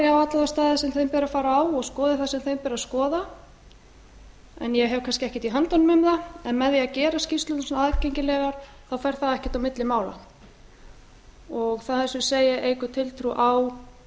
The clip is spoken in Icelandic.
staði sem þeim ber að fara á og skoði það sem þeim ber að skoða en ég hef kannski ekkert í höndunum um það en með því að gera skýrslurnar svona aðgengilegar þá fer það ekkert á milli mála það eins og ég segi eykur tiltrú á